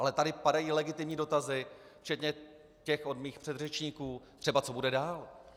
Ale tady padají legitimní dotazy, včetně těch od mých předřečníků, třeba co bude dál.